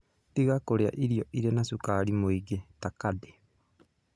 Tiga kũrĩa irio irĩ na cukari mũingĩ ta candy.